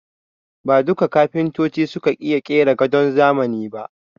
Ba duka kafintoci suka iya ƙera gadon zamani ba